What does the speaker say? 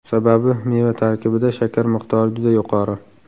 Sababi meva tarkibida shakar miqdori juda yuqori.